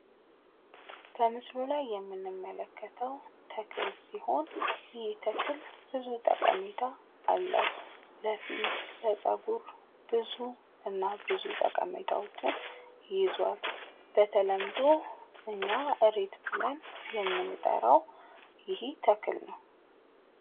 በምሰሉ ላይ የምንመለከተው ተክለ ሲሆን ብዙ ጠቀሜታ አለው። ለፊት ለፀጉር እና ብዙ ጠቀሜታዎች ይዟል። በተለምዶ እኛ እሬት ብለን የምንጠራው ይህ ተክለ ነው።